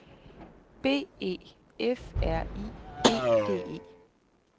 B E F R I E D E